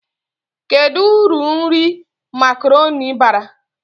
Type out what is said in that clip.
Kedu uru nri makaroni bara?